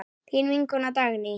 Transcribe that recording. Þín vinkona Dagný.